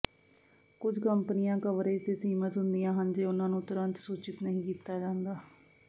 ਕੁਝ ਕੰਪਨੀਆਂ ਕਵਰੇਜ ਤੇ ਸੀਮਤ ਹੁੰਦੀਆਂ ਹਨ ਜੇ ਉਨ੍ਹਾਂ ਨੂੰ ਤੁਰੰਤ ਸੂਚਿਤ ਨਹੀਂ ਕੀਤਾ ਜਾਂਦਾ